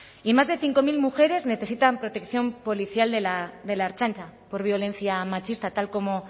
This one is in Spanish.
y más de cinco mil mujeres necesitan protección policial de la de la ertzaintza por violencia machista tal como